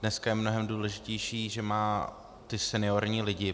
Dneska je mnohem důležitější, že má ty seniorní lidi.